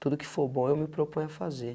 Tudo que for bom, eu me proponho a fazer.